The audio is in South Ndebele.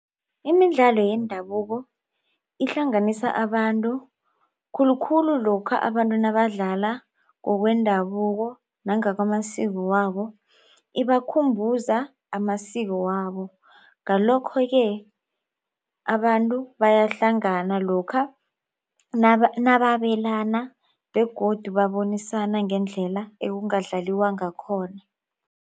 Imidlalo yendabuko ihlanganisa abantu khulukhulu lokha abantu nabadlala ngokwendabuko nangakamasiko wabo. Ibakhumbuza amasiko wabo. Ngalokho-ke abantu bayahlangana lokha nababelana begodu babonisana ngendlela ekungadlaliwa ngakhona.